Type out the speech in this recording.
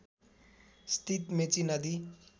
स्थित मेची नदी